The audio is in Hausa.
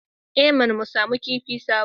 I mana! mu samu kifin sabo